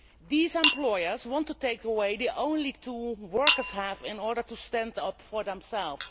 These employers want to take away the only tool workers have in order to stand up for themselves.